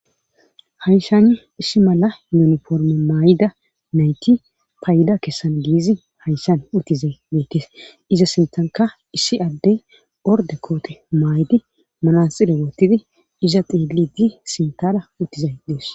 Hayshan issi mala yuniforme maay7ida nayti payida kessan giizi hayshan uttizay deekkes iza sintanka issi addey orde koote maay7di malansile woottidi iza xieligi sintada uttizay dees.